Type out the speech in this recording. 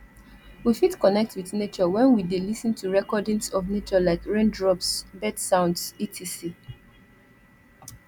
we fit connect with nature when we de lis ten to recordings of nature like raindrops bird sounds etc